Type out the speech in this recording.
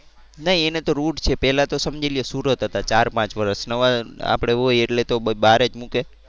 નહીં એને તો route છે પેલા તો સમજી લયો સુરત હતા ચાર પાંચ વર્ષ નવા આપડે હોય એટલે તો બહાર જ મૂકે.